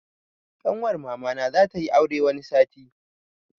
Ƙanwar mamana za tayi aure wani sati.